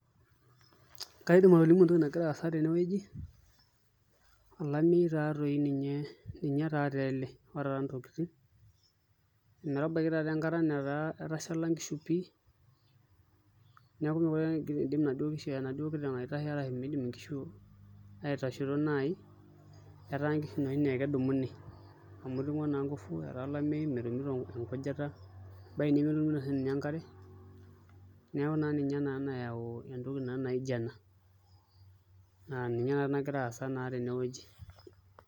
Kaidim atolimu entoki nagira aasa tenewueji olameyu taatoi ninye taatoi ele otara ntokitin ometabaiki taatoi enkata nataa etashala nkishu pii arashu miidim nkishu aitasho naai, etaa nkishu inoshi naa ekedumuni amu iting'o naa nguvu etaa olameyu metumito enkujita ebaiki nemetumito siinye enkare neeku ninye naa nayaua entoki naijio ena na ninye naa nagira aasa tenewueji.